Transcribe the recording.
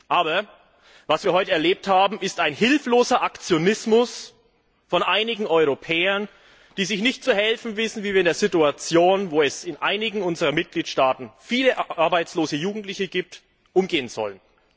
Aber was wir heute erlebt haben, ist hilfloser Aktionismus von einigen Europäern, die sich nicht zu helfen wissen, wie sie mit einer Situation, in der es in einigen unserer Mitgliedstaaten viele arbeitslose Jugendliche gibt, umgehen sollen.